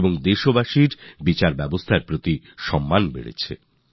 প্রকৃত অর্থে এই রায় আমাদের বিচার ব্যবস্থার জন্য একটি মাইলফলক হিসাবে চিহ্নিত হয়েছে